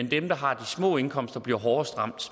dem der har de små indkomster bliver hårdest ramt